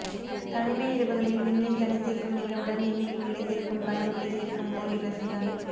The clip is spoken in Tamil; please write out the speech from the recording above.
தனிமை இரவுகளில் விண்ணில் தனித்திருக்கும் நிலவுடன் என்னில் நிலைத்திருக்கும் கனவுகளை சேர்க்கும் ஓர் இரசிகன்